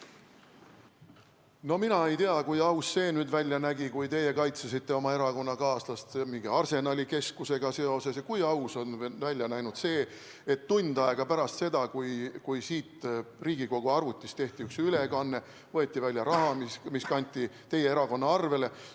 No mina ei tea, kui aus see välja nägi, kui teie kaitsesite oma erakonnakaaslast mingi Arsenali Keskusega seoses, ja kui aus nägi välja see, et tund aega pärast seda, kui siit Riigikogu arvutist tehti üks ülekanne, võeti välja raha, mis kanti teie erakonna arvele.